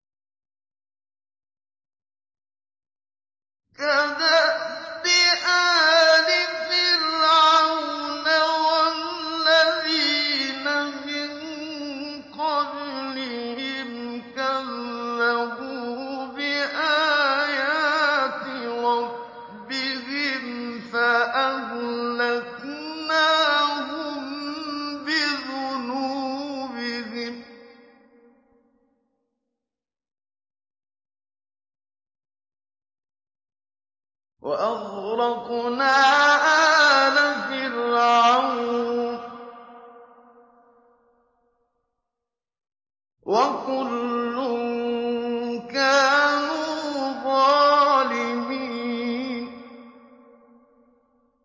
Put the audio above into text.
كَدَأْبِ آلِ فِرْعَوْنَ ۙ وَالَّذِينَ مِن قَبْلِهِمْ ۚ كَذَّبُوا بِآيَاتِ رَبِّهِمْ فَأَهْلَكْنَاهُم بِذُنُوبِهِمْ وَأَغْرَقْنَا آلَ فِرْعَوْنَ ۚ وَكُلٌّ كَانُوا ظَالِمِينَ